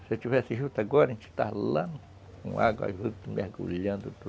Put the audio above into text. Se eu tivesse juta agora, a gente estaria lá, com água, juntos, mergulhando.